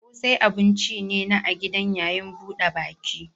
Ƙosai abun ci ne na a gidan yayin buɗe baki.